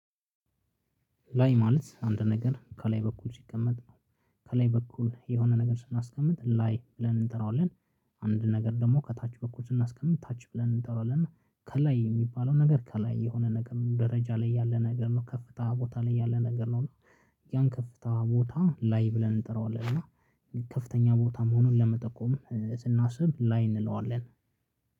ላይ ማለት አንድ ነገር ከላይ በኩል ሲቀመጥ ከላይ በኩል የሆነ ነገር ስናስቀምጥ ላይ ብለን እንጠራዋለን። አንድ ነገር ደግሞ ከታች በኩል ስናስቀምጥ ታች ብለን እንጠራዋለን። እና ከላይ የሚባለው ነገር ከላይ የሆነ ነገር ነው ደረጃ ላይ ያለ ነገር ነው ከፍታ ቦታ ላይ ያለ ነገር ነው። እና ያን ከፍታ ቦታ ላይ ብለን እንጠራዋለን። እና ከፍተኛ ቦታም መሆኑን ለመጠቆም ስናስብ ላይ እንለዋለን።